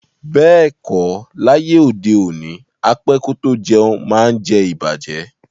Beeko, laye ode oni, á pẹ kò tó jẹ̀un maá ǹ jẹ̀ ìbàjẹ́.